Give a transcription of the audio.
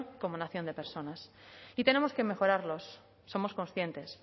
como nación de personas y tenemos que mejorarlos somos conscientes